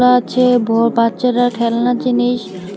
বাচ্চাটার খেলনার জিনিস।